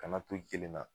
Kana to kelenna